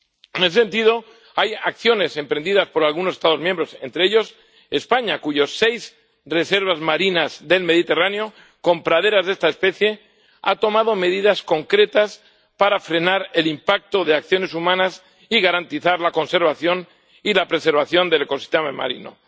En ese sentido, hay acciones emprendidas por algunos Estados miembros —entre ellos España, con seis reservas marinas del Mediterráneo con praderas de esta especie— que han tomado medidas concretas para frenar el impacto de acciones humanas y garantizar la conservación y la preservación del ecosistema marino.